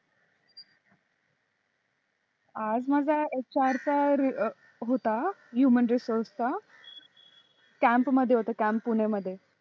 आज माझा HR चा होता Human resources चा camp मध्ये होता camp पुण्या मध्ये